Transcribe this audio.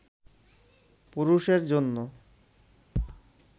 পুরুষের জন্য